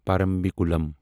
Parambikulam